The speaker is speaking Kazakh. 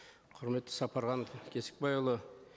құрметті сапархан кесікбайұлы